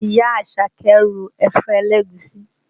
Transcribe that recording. Ìyá Àṣàkẹ́ ro ẹ̀fọ́ ẹlẹ́gùúsí